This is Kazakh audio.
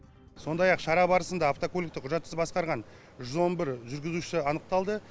сондай ақ шара барысында автокөлікті құжатсыз басқарған жүз он бір жүргізуші анықталды